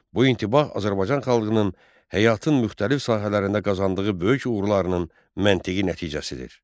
Bu intibah Azərbaycan xalqının həyatın müxtəlif sahələrində qazandığı böyük uğurlarının məntiqi nəticəsidir.